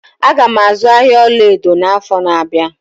Aga m azụ ahịa ọlaedo n'afọ na-abịa.